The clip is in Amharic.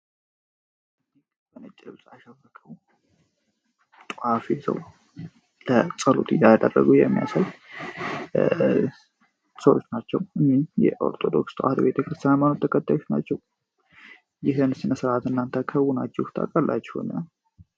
በነጭ ልብስ አሸብርቀዉ ጧፍ ይዘዉ ጠሎት እያደረጉ የሚያሳዩ ሰወች ናቸዉ ።የኦርቶዶክስ ተዋሕዶ ሀይማኖት ተከታዮች ናቸዉ። ይህን ስነ ስርአት እናተ ከዉናቹ ታቃላቹ ይሆናል።